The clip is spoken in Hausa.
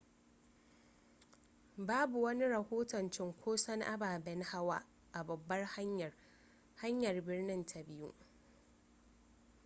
babu wani rahoton cinkoson ababen hawa a babbar hanyar hanyar birnin ta biyu